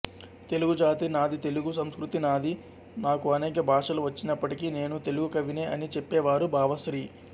తెలుగుజాతి నాది తెలుగు సంస్కృతి నాది నాకు అనేక భాషలు వచ్చినప్పటికీ నేను తెలుగు కవినే అని చెప్పేవారు భావశ్రీ